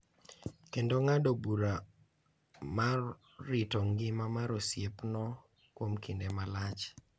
Kendo ng’ado bura mar rito ngima mar osiepno kuom kinde malach.